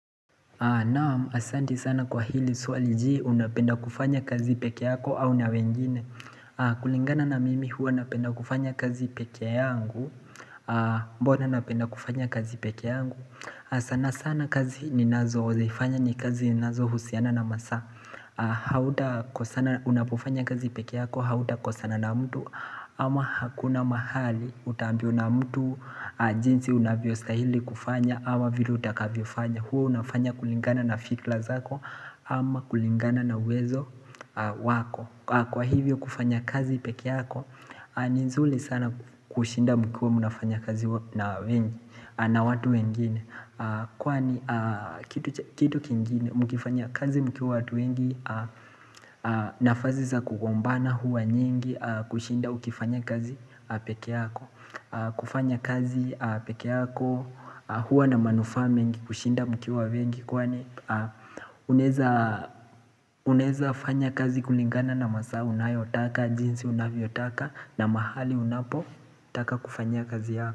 Naam, asante sana kwa hili swali. Je unapenda kufanya kazi pekee yako au na wengine. Kulingana na mimi huwa napenda kufanya kazi pekee yangu. Mbona napenda kufanya kazi pekee yangu? Sana sana kazi ninazozifanya ni kazi ninazohusiana na masaa. Unapofanya kazi pekee yako, hautakosana na mtu ama hakuna mahali utaambiwa na mtu jinsi unavyostahili kufanya ama vile utakavyofanya. Huwa unafanya kulingana na fikra zako ama kulingana na uwezo wako. Kwa hivyo kufanya kazi pekee yako ni nzuri sana kushinda mkiwa mnafanya kazi na wengi na watu wengine Kwani kitu kingine mkifanya kazi mkiwa watu wengine nafasi za kugombana huwa nyingi kushinda ukifanya kazi pekee yako. Kufanya kazi pekee yako Huwa na manufaa mengi kushinda mkiwa wengi Kwani unaeza fanya kazi kulingana na masaa unayotaka jinsi unavyotaka na mahali unapotaka kufanyia kazi yako.